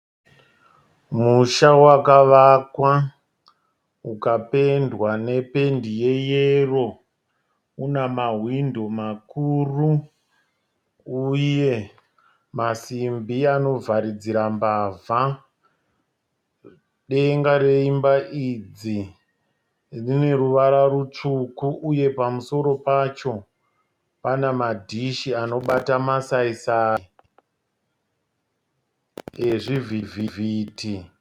Musha wakavakwa ukapendwa nependi yeyero unamahwindo makuru uye masimbi anovharidzira mbavha. Denga reimba idzi rine ruvara rutsvuku uye pamusoro pacho pane madish anobata masaisayi ezvivhitivhiti.